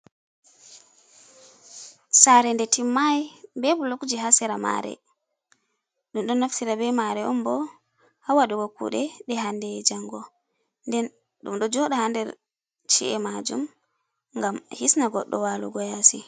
Sare nde timmai be bulokji ha sera mare. Ɗum ɗo naftira be mare on bo ha waɗugo kuɗe nde hande e'jango. Nden ɗum ɗo joɗa ha nder chi’e majum ngam hisna goɗɗo walugo yasi.